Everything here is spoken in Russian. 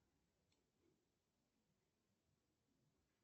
джой сколько времени сейчас в новосибирске